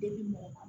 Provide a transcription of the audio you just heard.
Deli mɔgɔ ma